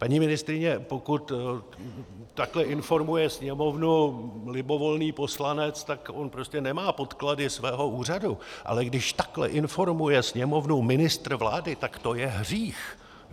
Paní ministryně, pokud takhle informuje Sněmovnu libovolný poslanec, tak on prostě nemá podklady svého úřadu, ale když takhle informuje Sněmovnu ministr vlády, tak to je hřích.